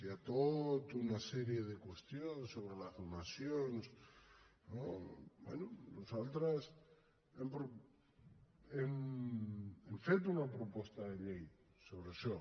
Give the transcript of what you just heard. hi ha tota una sèrie de qüestions sobre les donacions no bé nosaltres hem fet una proposta de llei sobre això